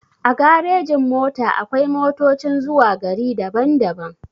A garejin-mota akwai motocin zuwa gari daban-daban.